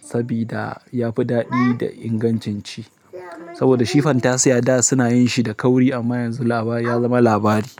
saboda ya fi daɗi da ingancin ci. Saboda shi fantasiya da suna yin shi da kauri amma yanzu labari ya zama labari.